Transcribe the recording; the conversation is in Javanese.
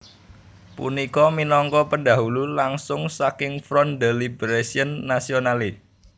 Punika minangka pendahulu langsung saking Front de Libération Nationale